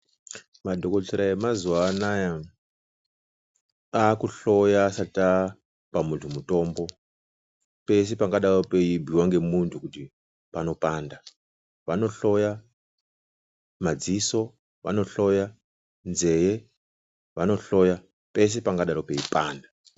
Madhokotera emazuwanaya aakuhloya asati apa muntu mutombo, pese pangadaiwo peibhuiwa nemuntu kuti panopanda. Vanohlyoya madziso, vanohloya zvee, vanohloya pese pangadai peipanda.